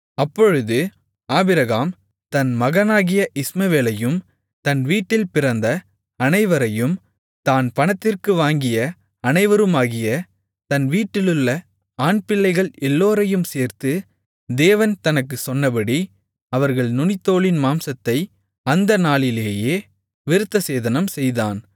அப்பொழுது ஆபிரகாம் தன் மகனாகிய இஸ்மவேலையும் தன் வீட்டில் பிறந்த அனைவரையும் தான் பணத்திற்கு வாங்கிய அனைவருமாகிய தன் வீட்டிலுள்ள ஆண்பிள்ளைகள் எல்லோரையும் சேர்த்து தேவன் தனக்குச் சொன்னபடி அவர்கள் நுனித்தோலின் மாம்சத்தை அந்த நாளிலேயே விருத்தசேதனம் செய்தான்